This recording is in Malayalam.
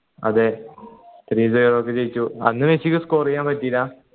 അതെ three zero ക്ക് ജയിച്ചു അന്ന് മെസ്സിക്ക് score ചെയ്യാൻ പറ്റില്ല